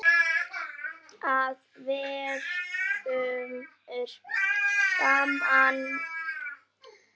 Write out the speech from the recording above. Það verður gaman.